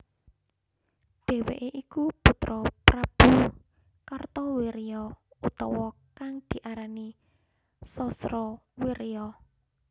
Dheweke iku putra Prabu Kartawirya utawa kang diarani Sasrawirya